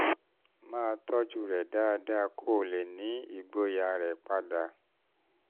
máa tọ́jú rẹ̀ dáadáa kó o lè ní ìgboyà rẹ padà